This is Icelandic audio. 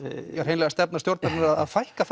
hreinlega stefna stjórnarinnar að fækka